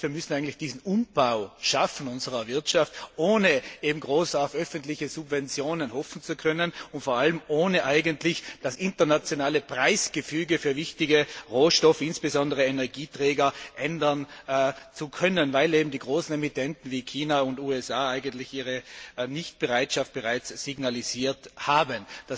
Das heißt, wir müssen eigentlich diesen Umbau unserer Wirtschaft schaffen, ohne groß auf öffentliche Subventionen hoffen zu können und vor allem ohne eigentlich das internationale Preisgefüge für wichtige Rohstoffe, insbesondere Energieträger, ändern zu können, weil eben die großen Emittenten wie China und die USA eigentlich ihre Nichtbereitschaft bereits signalisiert haben.